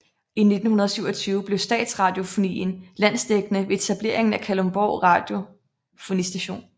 I 1927 blev Statsradiofonien landsdækkende ved etableringen af Kalundborg Radiofonistation